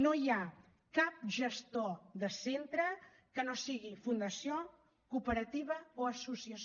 no hi ha cap gestor de centre que no sigui fundació cooperativa o associació